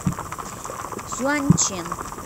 сюаньчэн